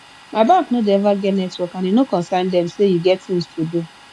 my bank no dey eva get network and e no concern dem sey you get tins to do